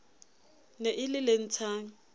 ne e le le ntshang